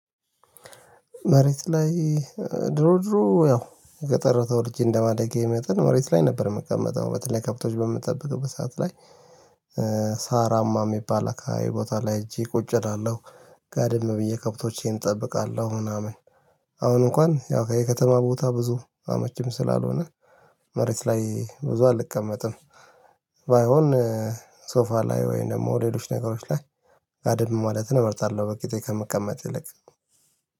መሬት ላይ ድሮ ድሮ ያው ገጠር ተወልጄ እንደማደጌ መጠን መሬት ላይ ነበር የምቀመጠው በተለይ ከብቶች በምትጠብቀው በሰአት ላይ ሳራማ የሚባል አካባቢ ቦታ ላይ ሄጄ ቁጭ እላለሁ ጋድም ብዬ ከብቶቼን እጠብቃለሁ ምናምን። አሁን እንኳን ያው ከየከተማ ቦታ ብዙ አመቺም ስላልሆነ መሬት ላይ ብዙ አልቀመጥም። ባይሆን ሶፋ ላይ ወይንም ደግሞ ሌሎች ነገሮች ላይ ጋድም ማለትን እመርታለሁ። በቂጤ ከምቀመጥ ይልቅ